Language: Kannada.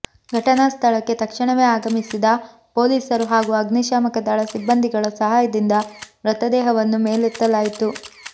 ಘಟನಾ ಸ್ಥಳಕ್ಕೆ ತಕ್ಣಣವೇ ಆಗಮಿಸಿದ ಪೋಲಿಸರು ಹಾಗೂ ಅಗ್ನಿಶಾಮಕ ದಳ ಸಿಬ್ಬಂದಿಗಳ ಸಹಾಯದಿಂದ ಮೃತದೇಹವನ್ನು ಮೇಲೆತ್ತಲಾಯಿತು